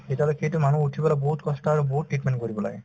তেতিয়াহলে সেইটো মানুহ উঠিবলৈ বহুত কষ্ট আৰু বহুত treatment কৰিব লাগে